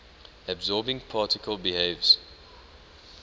absorbing particle behaves